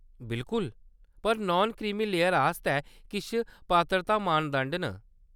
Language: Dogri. बिलकुल ! पर नान क्रीमी लेयर आस्तै किश पात्रता मानदंड न।